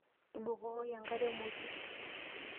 Tubukoki enkare emoti.